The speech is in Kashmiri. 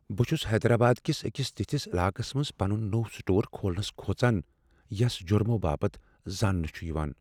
بہٕ چھس حیدرآباد کس أکس تتھس علاقس منز پنن نوٚو سٹور کھولنس کھوژان، یس جرمو باپت زاننہٕ چھ یوان۔